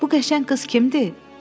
Bu qəşəng qız kimdi?